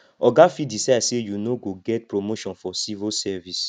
oga fit decide sey you no go get promotion for civil service